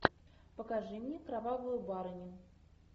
покажи мне кровавую барыню